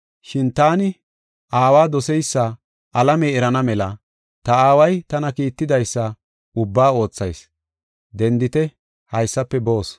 Shin taani Aawa doseysa alamey erana mela ta Aaway tana kiittidaysa ubbaa oothayis. Dendite; haysafe boos.